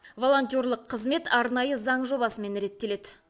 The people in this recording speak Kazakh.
волонтерлық қызмет арнайы заң жобасымен реттеледі